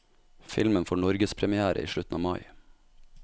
Filmen får norgespremière i slutten av mai.